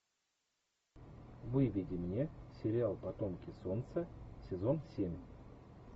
выведи мне сериал потомки солнца сезон семь